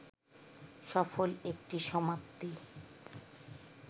সফল একটি সমাপ্তি